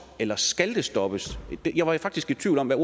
eller skal det stoppes jeg var faktisk i tvivl om hvad